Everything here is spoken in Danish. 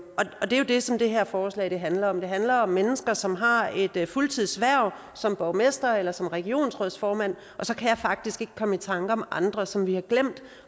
og det er jo det som det her forslag handler om det handler om mennesker som har et fuldtidshverv som borgmester eller som regionsrådsformand og så kan jeg faktisk ikke komme i tanker om andre som vi har glemt